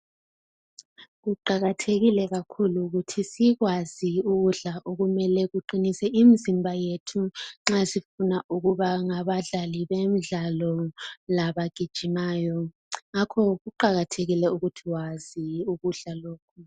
Kuqakathekile kakhulu ukuthi sikwazi ukudla okumele kuqinise imzimba yethu nxa sifuna ukuba ngabadlali bemidlalo abagijimayo ngakho kuqakathekile ukuthi wazi ukudla lokhu.